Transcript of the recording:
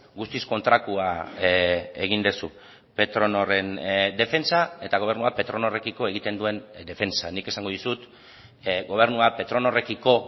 guztiz kontrakoa egin duzu petronorren defentsa eta gobernua petronorrekiko egiten duen defentsa nik esango dizut gobernuak petronorrekiko